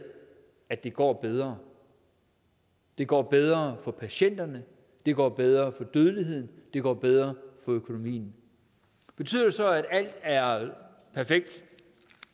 at det går bedre det går bedre for patienterne det går bedre med dødeligheden det går bedre med økonomien betyder det så at alt er perfekt